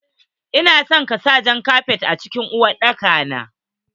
Ina so ka sa Jan kafet a cikin uwar dakan.